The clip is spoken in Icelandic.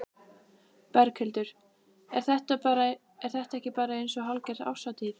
Berghildur: Er þetta ekki bara eins og hálfgerð árshátíð?